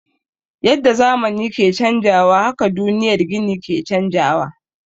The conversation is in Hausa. Yadda zamani ke canjawa haka duniyar gini ke canjawa.